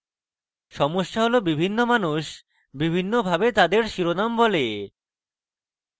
সমস্যা হল বিভিন্ন মানুষ বিভিন্ন ভাবে তাদের শিরোনাম বলে